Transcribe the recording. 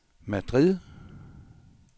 Madrid